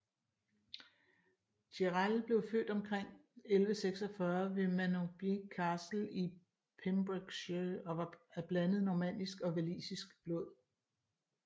Gerald blev født omkring 1146 ved Manorbier Castle i Pembrokeshire og var af blandet normannisk og walisisk blod